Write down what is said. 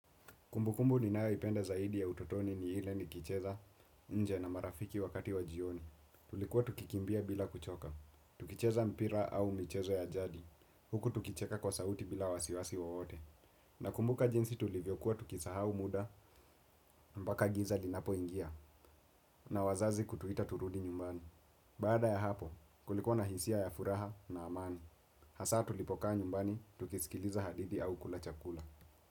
Kumbukumbu niyoipenda zaidi ya utotoni ni ile nikicheza, nje na marafiki wakati wa jioni. Tulikuwa tukikimbia bila kuchoka. Tukicheza mpira au michezo ya jadi. Huku tukicheka kwa sauti bila wasiwasi wowote. Nakumbuka jinsi tulivyokuwa tukisahau muda, mpaka giza linapo ingia. Na wazazi kutuita turudi nyumbani. Baada ya hapo, kulikuwa na hisia ya furaha na amani. Hasa tulipokaa nyumbani, tukisikiliza hadithi au kula chakula.